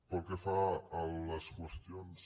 pel que fa a les qüestions